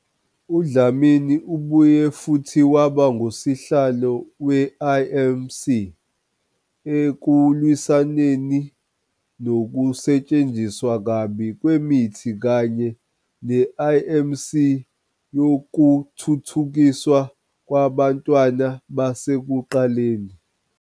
UDlamini ubuye futhi waba ngusihlalo we-IMC ekuLwisaneni nokuSetshenziswa kabi kweMithi kanye ne-IMC yokuThuthukiswa kwabaNtwana basekuqaleni.